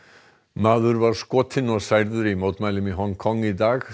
maður var skotinn og særður í mótmælum í Hong Kong í dag